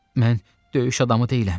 Mən döyüş adamı deyiləm.